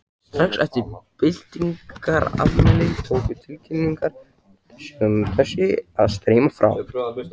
Strax eftir byltingarafmælið tóku tilkynningar sem þessi að streyma frá